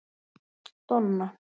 Donna